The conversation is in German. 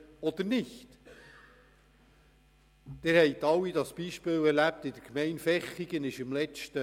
Sie alle haben im letzten Herbst die Ereignisse in der Gemeinde Vechigen mitbekommen.